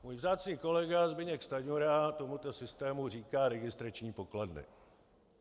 Můj vzácný kolega Zbyněk Stanjura tomuto systému říká registrační pokladny.